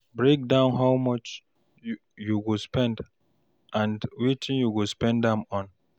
Break down how much you go spend and wetin you go spend am on